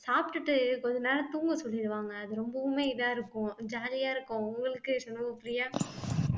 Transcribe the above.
சாப்பிட்டுட்டு கொஞ்ச நேரம் தூங்க சொல்லிடுவாங்க அது ரொம்பவுமே இதா இருக்கும் jolly யா இருக்கும் உங்களுக்கு சண்முகபிரியா